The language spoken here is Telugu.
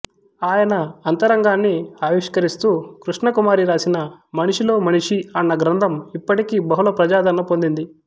ఆయన అంతరంగాన్ని ఆవిష్కరిస్తూ కృష్ణకుమారి రాసిన మనిషిలో మనీషి అన్న గ్రంథం ఇప్పటికీ బహుళ ప్రజాదరణ పొందింది